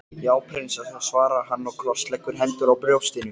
Já prinsessa, svarar hann og krossleggur hendurnar á brjóstinu.